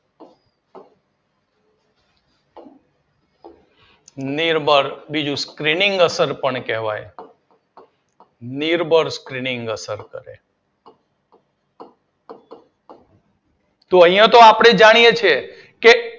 નિર્બળ બીજું સ્ક્રીનિંગ અસર પણ કહેવાય નિર્બળ સ્ક્રીનિંગ અસર કરે અહિયાં તો આપણે જાણીએ છીએ